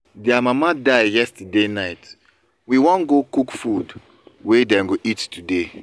i know say dem no pay me but i wan do am for dem